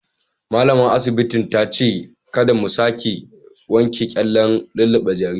Malamar asibitin ta ce kada mu sake wanke kyallen lullube jaririn.